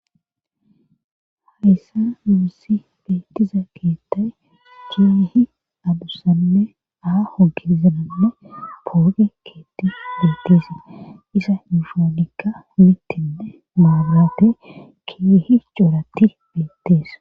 Hayssa muussi beettiza keettay keehi adussanne aa hogizananne pooge keetti beetteese isa iushoonikka mittinne maarate keehi coratti beettees.